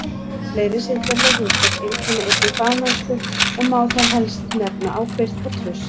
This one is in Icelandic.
Fleiri siðferðileg hugtök einkenna einnig fagmennsku og má þar helst nefna ábyrgð og traust.